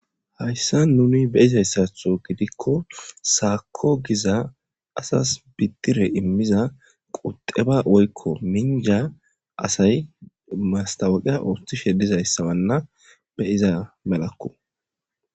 Hayisan nuni be,iza gidiko sakob giza asasi bidire imida quxeba woyiko minja asayi mastawuqe otiishe dizayisa mala be,iza malako